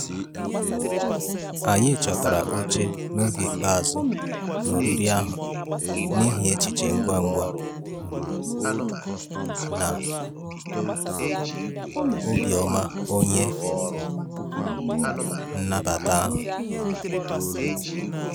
Anyị chọtara oche n'oge ikpeazụ na oriri ahụ n'ihi echiche ngwa ngwa um na um obi ọma onye um nnabata ahụ.